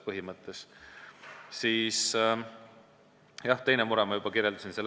Teise mure ma juba kirjeldasin ära.